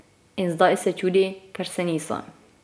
In zdaj se čudi, ker se niso.